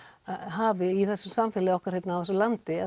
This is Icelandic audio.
hafi í þessu samfélagi okkar hérna í þessu landi